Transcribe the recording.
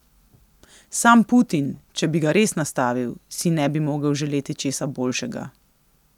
Sam Putin, če bi ga res nastavil, si ne bi mogel želeti česa boljšega.